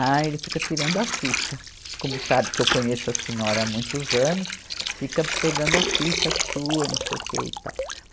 Ah, ele fica tirando a ficha, como sabe que eu conheço a senhora há muitos anos, fica pegando a ficha sua, não sei o que e tal.